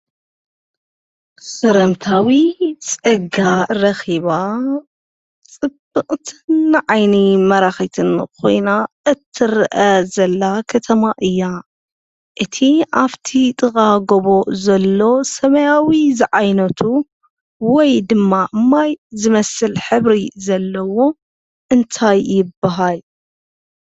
ሰላምታዊ ፀጋ ረኪባ ፅብቅቲ ንዓይኒን ማራኪትን ኮይና እትርአ ዘላ ከተማ እያ፡፡ እቲ አብፍቲ ጥቃ ጎቦ ዘሎ ሰማያዊ ዝዓይነቱ ወይ ድማ ማይ ዝመስል ሕብሪ ዘለዎ እንታይ ይበሃል?